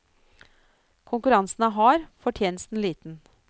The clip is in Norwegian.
Konkurransen er hard, fortjenesten liten.